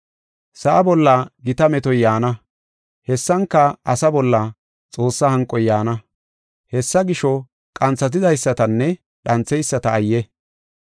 Sa7a bolla gita metoy yaana, hessanka asaa bolla Xoossaa hanqoy yaana. Hessa gisho, qanthatidaysatanne dhantheyisata ayye!